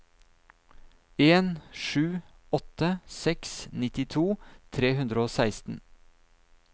en sju åtte seks nittito tre hundre og seksten